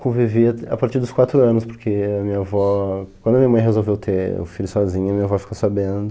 Convivi a partir dos quatro anos, porque a minha avó, quando a minha mãe resolveu ter o filho sozinha, a minha avó ficou sabendo.